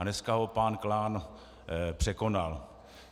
A dneska ho pan Klán překonal.